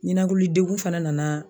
Ɲinakili degun fɛnɛ nana